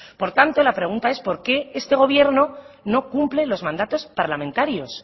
por tanto la pregunta es por qué este gobierno no cumple los mandatos parlamentarios